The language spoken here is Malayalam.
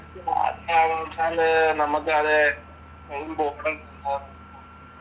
നമ്മക്കത്